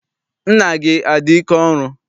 Nna gị adị ike ọrụ?